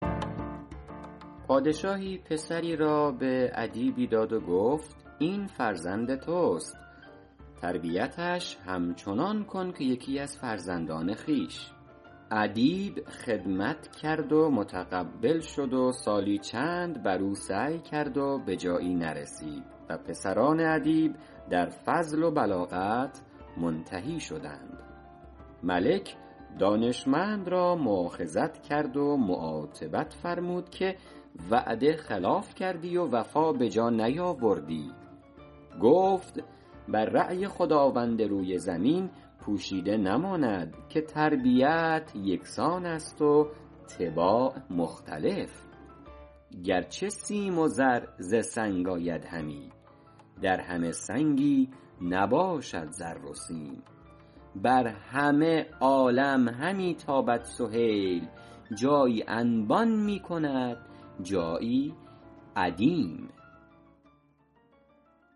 پادشاهی پسری را به ادیبی داد و گفت این فرزند توست تربیتش همچنان کن که یکی از فرزندان خویش ادیب خدمت کرد و متقبل شد و سالی چند بر او سعی کرد و به جایی نرسید و پسران ادیب در فضل و بلاغت منتهی شدند ملک دانشمند را مؤاخذت کرد و معاتبت فرمود که وعده خلاف کردی و وفا به جا نیاوردی گفت بر رای خداوند روی زمین پوشیده نماند که تربیت یکسان است و طباع مختلف گرچه سیم و زر ز سنگ آید همی در همه سنگی نباشد زر و سیم بر همه عالم همی تابد سهیل جایی انبان میکند جایی ادیم